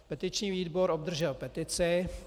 Petiční výbor obdržel petici.